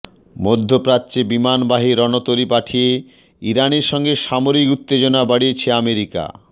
মধ্যপ্রাচ্যে বিমানবাহী রণতরী পাঠিয়ে ইরানের সঙ্গে সামরিক উত্তেজনা বাড়িয়েছে আমেরিকা